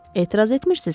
"Etiraz etmirsiz ki?"